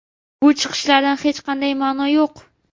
Bu chiqishlarda hech qanday ma’no yo‘q.